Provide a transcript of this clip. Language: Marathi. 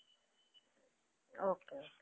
okay.